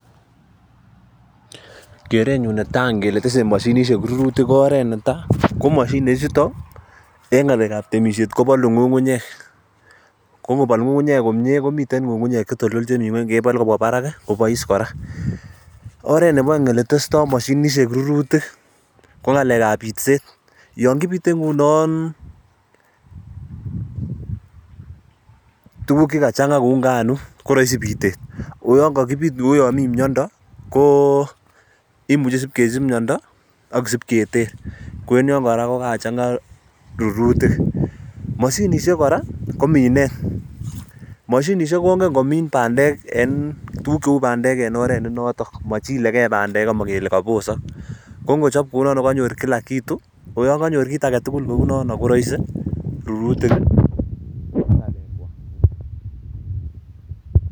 Kerenyun netai kele tese moshinisiek rurutik ko oret netai ko moshinisiek chutok en ng'alek ab temisiet kobolu ng'ung'unyek oo kobol ng'ung'unyek komyie komiten ng'ung'unyek chetoltol chemi ngweny kebolu kobwa barak koboise kora, oret nebo oeng' ko en bitset, yon kibistse kounon tuguk chekachang'a kou nganuk koroisi bitet akosib kesich ak kesib keter myondo ko en yon kokakochang'a rurutik, moshinisiek kongen komin bandek oen oret nenoton amochilegei bandek amobosokse kongochop kounon kokanyor kila kitu koraisi rurenywan.